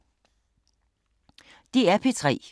DR P3